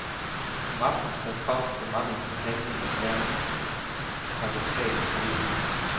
Som aftenen skred frem, blev manglen på handling og ærinde paradoksalt følelig.